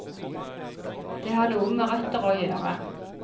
Det har noe med røtter å gjøre.